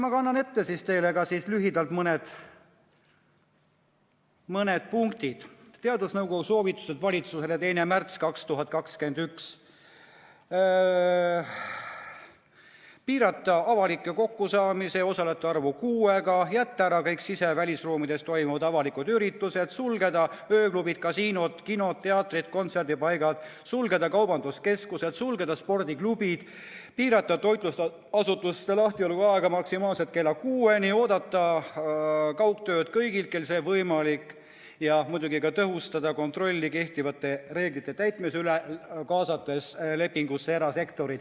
Ma kannan teile lühidalt ette mõned punktid teadusnõukoja soovitustest valitsusele, 2. märts 2021: piirata avalikel kokkusaamistel osalejate arvu kuuega; jätta ära kõik sise- ja välisruumides toimuvad avalikud üritused; sulgeda ööklubid, kasiinod, kinod, teatrid ja kontserdipaigad; sulgeda kaubanduskeskused; sulgeda spordiklubid; piirata toitlustusasutuste lahtioleku aega maksimaalselt kella kuueni; oodata kaugtööd kõigilt, kellel see võimalik; ja muidugi tõhustada kontrolli kehtivate reeglite täitmise üle, kaasates lepingusse erasektori.